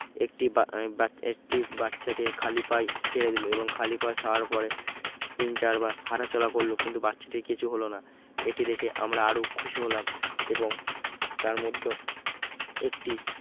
একটি বা বা একটি বাচ্চাকে খালি পায়ে ছেড়ে দিলো এবং খালি পা ছাড়ার পরে তিন চারবার হাঁটাচলা করল কিন্তু বাচ্চাটির কিছু হল না এটি দেখে আমরা আরো খুশি হলাম এবং তার মধ্যে একটি